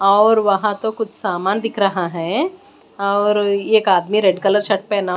और वहां तो कुछ सामान दिख रहा है और एक आदमी रेड कलर शर्ट पहना--